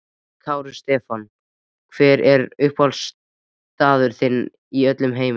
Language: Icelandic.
Kári Stefánsson Hver er uppáhaldsstaðurinn þinn í öllum heiminum?